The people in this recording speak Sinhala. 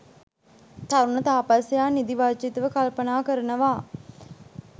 තරුණ තාපසයා නිදි වර්ජිතව කල්පනා කරනවා.